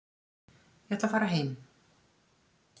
Ég ætla að fara heim.